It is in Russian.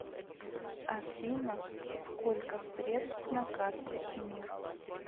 афина сколько средств на карте мир